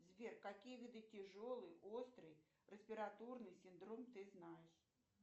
сбер какие виды тяжелый острый респираторный синдром ты знаешь